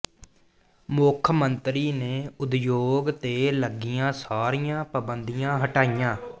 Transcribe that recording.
ਮੁੱਖ ਮੰਤਰੀ ਨੇ ਉਦਯੋਗ ਤੇ ਲੱਗੀਆਂ ਸਾਰੀਆਂ ਪਾਬੰਦੀਆਂ ਹਟਾਈਆਂ